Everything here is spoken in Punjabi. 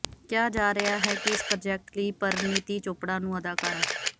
ਕਿਹਾ ਜਾ ਰਿਹਾ ਹੈ ਕਿ ਇਸ ਪ੍ਰਾਜੈਕਟ ਲਈ ਪਰਿਣੀਤੀ ਚੋਪੜਾ ਨੂੰ ਅਦਾਕਾਰਾ